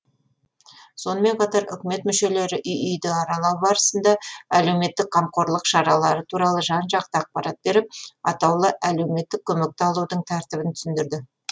сонымен қатар үкімет мүшелері үй үйді аралау барысында әлеуметтік қамқорлық шаралары туралы жан жақты ақпарат беріп атаулы әлеуметтік көмекті алудың тәртібін түсіндірді